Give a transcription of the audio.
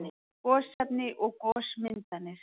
Gosefni og gosmyndanir